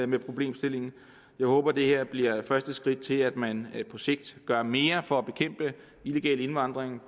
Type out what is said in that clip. med problemstillingen jeg håber at det her bliver første skridt til at man på sigt gør mere for at bekæmpe illegal indvandring